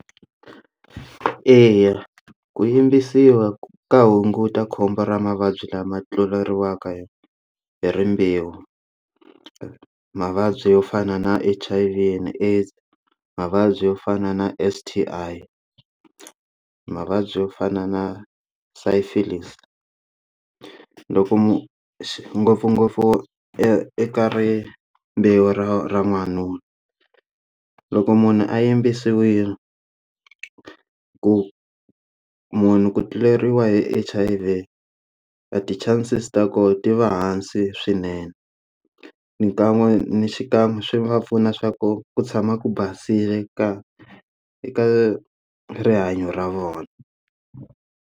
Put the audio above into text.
Eya, ku yimbisiwa ka hunguta khombo ra mavabyi lama tluleriwaka hi rimbewu mavabyi yo fana na H_I_V and AIDS mavabyi yo fana na S_T_I mavabyi yo fana na syphilis loko ngopfungopfu eka ri mbewu ra n'wanuna loko munhu a yimbisiwile ku munhu ku tluleriwa hi H_I_V a ti chances ta kona ti va hansi swinene xikan'we ni xikan'we swi va pfuna swa ku ku tshama ku basile ka eka rihanyo ra vona.